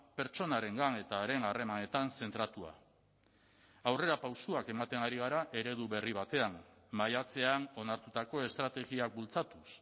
pertsonarengan eta haren harremanetan zentratua aurrerapausoak ematen ari gara eredu berri batean maiatzean onartutako estrategiak bultzatuz